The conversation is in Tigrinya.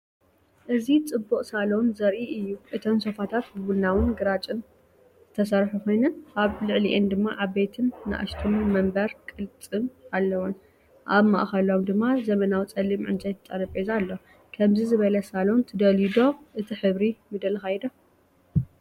እዚ ጽቡቕ ሳሎን ዘርኢ እዩ። እተን ሶፋታት ብቡናውን ግራጭን ዝተሰርሑ ኮይነን፡ ኣብ ልዕሊአን ድማ ዓበይቲን ንኣሽቱ መንበር ቅልጽም ኣለዎን። ኣብ ማእከሎም ድማ ዘመናዊ ጸሊም ዕንጨይቲ ጠረጴዛ ኣሎ። ከምዚ ዝበለ ሳሎን ትደልዩ ዶ? እቲ ሕብሪ ምደለኻዮ ዶ?